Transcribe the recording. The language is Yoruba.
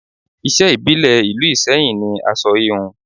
Iṣẹ́ ìbílẹ̀ ìlú Iseyin ni aṣọ híhun